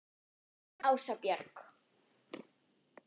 Þín Ása Björg.